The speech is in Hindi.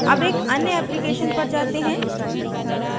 अब एक अन्य application पर जाते हैं